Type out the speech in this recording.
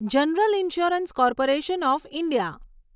general insurance corporation of India